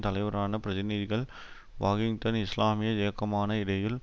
தலைவரான பிரதிநிதிகள் வாகிட்டின் இஸ்லாமிய இயக்கமான இடையில்